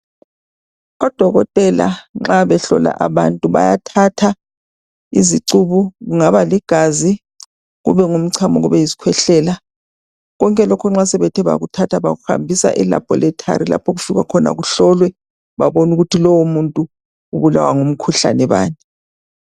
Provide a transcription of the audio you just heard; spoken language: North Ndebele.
Odokotela nxa behlola abantu bayathatha izicubu kungabaligazi, kube ngumchamo kube yisikhwehlela. Konke lokho nxa sebethe bakuthatha bakuhambisa e laboratory lapho okugika. khina kuhlolwe babone ukuthi umuntu lowomuntu ubulawa ngumkhuhlane bani.